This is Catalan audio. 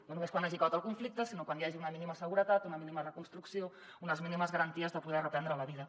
no només quan hagi acabat el conflicte sinó quan hi hagi una mínima seguretat una mínima reconstrucció unes mínimes garanties de poder reprendre la vida